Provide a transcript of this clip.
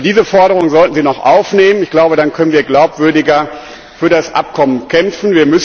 Also diese Forderung sollten Sie noch aufnehmen. Ich glaube, dann können wir glaubwürdiger für das Abkommen kämpfen.